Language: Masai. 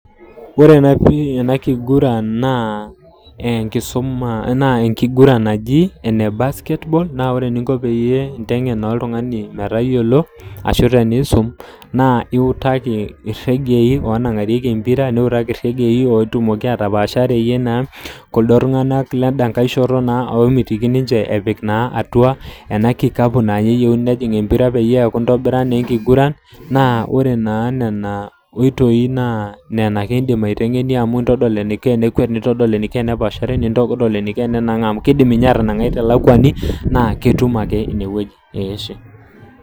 Wore ena kiguran naa enkisuma naa enkiguran naji, ene basketball naa wore eninko peyie intengen naa oltungani metayiolo ashu teniisum. Naa iutaki irregei oonangarieki empira, niutaki irregei ootumoki atapaashareyie naa kuldo tunganak lenda nkae shoto naa oomitiki ninche epik naa atua ena kikapu naa ninye eyiouni nejing embira peaku intobira naa enkiguran, naa wore naa niana oitoi naa niana ake iindim aitengenie amu intodol eniko enekwet, nintodol eniko enepaashare, nintodol eniko enenangaa amu kiidim ninye atanangai telakuani, naa ketum ake ine woji eashe.